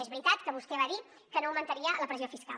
és veritat que vostè va dir que no augmentaria la pressió fiscal